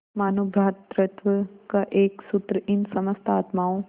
मानों भ्रातृत्व का एक सूत्र इन समस्त आत्माओं